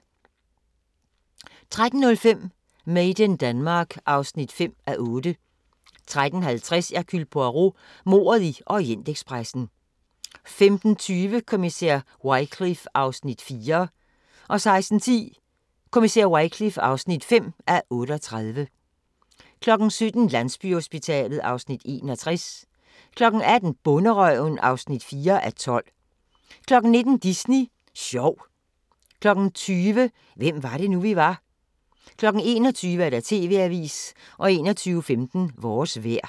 13:05: Made in Denmark (5:8) 13:50: Hercule Poirot: Mordet i Orientekspressen 15:20: Kommissær Wycliffe (4:38) 16:10: Kommissær Wycliffe (5:38) 17:00: Landsbyhospitalet (Afs. 61) 18:00: Bonderøven (4:12) 19:00: Disney Sjov 20:00: Hvem var det nu, vi var? 21:00: TV-avisen 21:15: Vores vejr